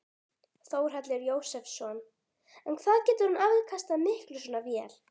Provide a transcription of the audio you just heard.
Þórhallur Jósefsson: En hvað getur hún afkastað miklu svona vél?